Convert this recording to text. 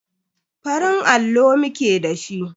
Farin allo muke da shi.